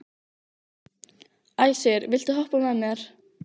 Æsir, viltu hoppa með mér?